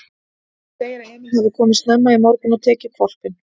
Hún segir að Emil hafi komið snemma í morgun og tekið hvolpinn.